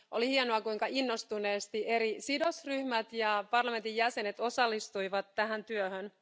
Oli hienoa, kuinka innostuneesti eri sidosryhmät ja parlamentin jäsenet osallistuivat tähän työhön.